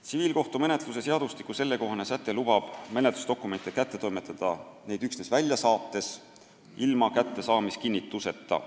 Tsiviilkohtumenetluse seadustiku sellekohane säte lubab menetlusdokumente kätte toimetada neid üksnes välja saates, ilma kättesaamiskinnituseta.